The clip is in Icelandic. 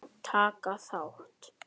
Taka þá!